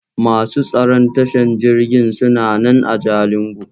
Masu tsaron tashan jirgin suna nan a Jalingo.